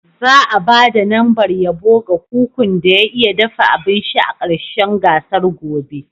Za'a ba da lambar yabo ga kukun da ya iya dafa abinci a ƙarshen gasar gobe.